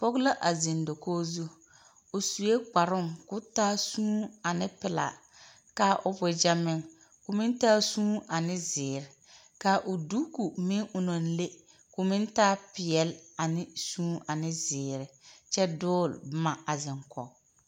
pɔge la a zeŋ dakogi zu. O sue kparoŋ kao taa suuni ane pelaa. Ka o wagyɛ meŋ, ka o taa suuni ane zeere ka o duku meŋo naŋ le, ka o taapeɛle ane suuni ane zeere. kyɛ dogele boma a zeŋ kɔge.